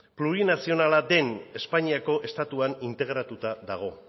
plurinazionala den espainiako estatuan integratuta dago